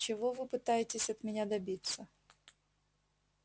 чего вы пытаетесь от меня добиться